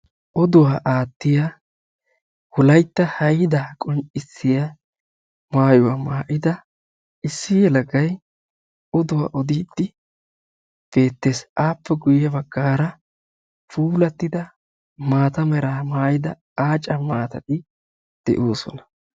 oduwaa aatiya wolaytta haydaa qonccisiya maayida issi yelagay beetees. appe ya bagaara diccioda maatay beetees.